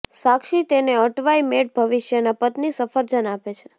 સાક્ષી તેને અટવાઇ મેળ ભવિષ્યના પત્ની સફરજન આપે છે